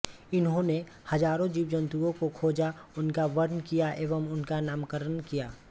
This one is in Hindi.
इन्होने हजारों जीवजन्तुओं को खोजा उनका वर्न किया एवं उनका नामकरण किया